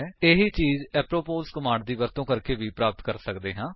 ਇਹੀ ਚੀਜ apropos command ਦੀ ਵਰਤੋ ਕਰਕੇ ਵੀ ਪ੍ਰਾਪਤ ਕਰ ਸਕਦੇ ਹਾਂ